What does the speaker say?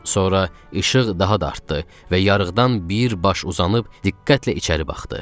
Sonra işıq daha da artdı və yarıqdan bir baş uzanıb diqqətlə içəri baxdı.